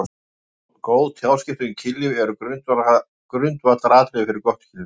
Góð tjáskipti um kynlíf eru grundvallaratriði fyrir gott kynlíf.